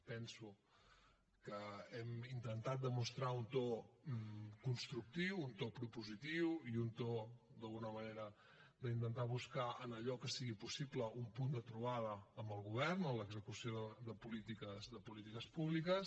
penso que hem intentat demostrar un to constructiu un to propositiu i un to d’alguna manera d’intentar buscar en allò que sigui possible un punt de trobada amb el govern en l’execució de polítiques públiques